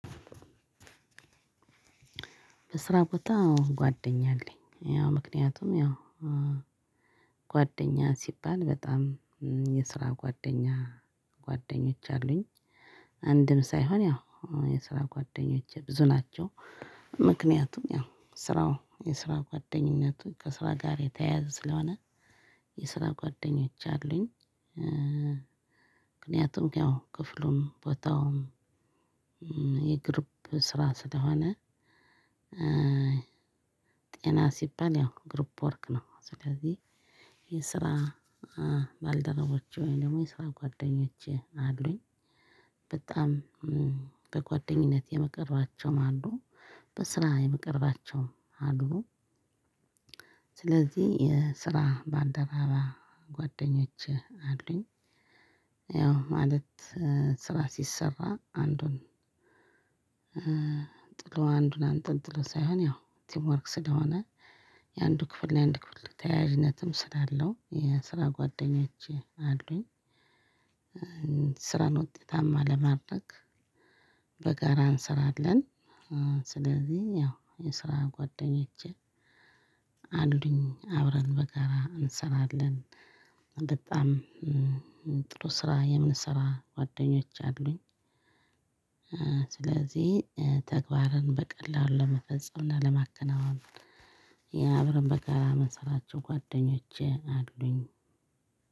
በስራ ቦታ ጓደኛ አለኝ ያው ምክንያቱም ያው ጓደኛ ሲባል በጣም እ የስራ ጓደኛ ጓደኞች አሉኝ አንድም ሳይሆን ያው የስራ ጓደኞቼ ብዙ ናቸው። ምክንያቱም ያው ስራው የስራ ጓደኝነቱ ከስራ ጋር የተያያዘ ስለሆነ። የስራ ጓደኞች አሉኝ እ እ ምክንያቱም ያው ክፍሉም ቦታውም እም የግሩብ ስራ ስለሆነ። እ ጤና ሲባል የው ግሩብ ወርክ ነው። ስለዚህ የስራ እ ባልደረቦች ወይም ደግሞ የስራ ጓደኞች አሉኝ። በጣም እም በጓደኝነት የምቀርባቸውም አሉ። በስራ የምቀርባቸውም አሉ። ስለዚህ የስራ ባልደረባ ጓደኞቼ አሉኝ። ያው ማለት ስራ ሲሰራ አንዱን እ ጥሎ አንዱን አንጠጥሎ ሳይሆን ያው ቲምወርክ ስለሆነ። የአንዱ ክፍል እና የአንዱ ክፍል ተያያዥነትም ስላለው የስራ ጓደኞቼ አሉኝ። ስራን ውጤታማ ለማድረግ በጋራ እንሰራለን። እ ስለዚህ ያው የስራ ጓደኞቼ አሉኝ አብረን በጋራ እንሰራለን። በጣም እም ጥሩ ስራ የምንሰራ ጓደኞች አሉኝ። እ ስለዚህ ተግባርን በቀላሉ ለመፈጸም እና ለማከናወን የአብረን በጋራ ምንሰራቸው ጓደኞቼ አሉኝ።